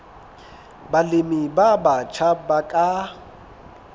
balemi ba batjha ba ka